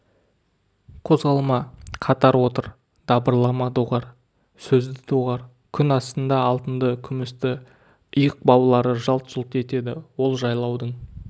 қозғалма қатар отыр дабырлама доғар сөзді доғар күн астында алтынды күмісті иық баулары жалт-жұлт етеді ол жайлаудың